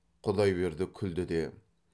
құдайберді күлді де